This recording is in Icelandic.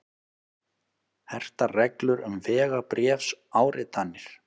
Hertar reglur um vegabréfsáritanir